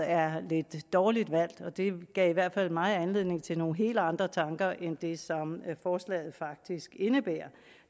er lidt dårligt valgt det gav i hvert fald mig anledning til nogle helt andre tanker end det som forslaget faktisk indebærer